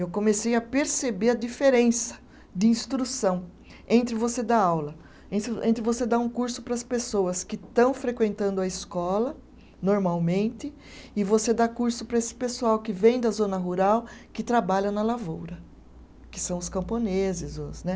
Eu comecei a perceber a diferença de instrução entre você dar aula, entre entre você dar um curso para as pessoas que estão frequentando a escola normalmente, e você dar curso para esse pessoal que vem da zona rural, que trabalha na lavoura, que são os camponeses, os né